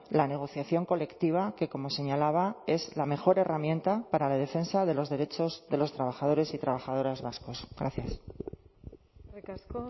la negociación colectiva que como señalaba es la mejor herramienta para la defensa de los derechos de los trabajadores y trabajadoras vascos gracias eskerrik asko